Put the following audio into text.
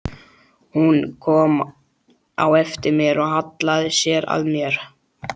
Hún kom á eftir mér og hallaði sér að mér.